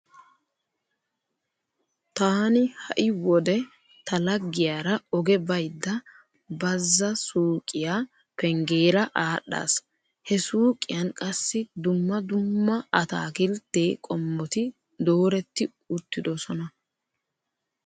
Taani ha"i wode ta laggiyara oge baydda Bazza Suuqiya penggeera aadhdhaas. He suuqiyan qassi dumma dumma ataakiltte qommoti dooretti uttidosona.